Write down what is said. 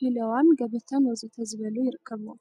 ሂለዋን ገበታን ወዘተ ዝበሉ ይርከቡዎም፡፡